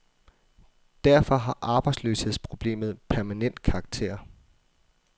Derfor har arbejdsløshedsproblemet permanent karakter.